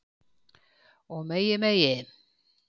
Og megi megi